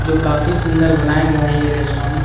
जो काफी सुंदर बनाया गया है ये रेस्ट्रोन --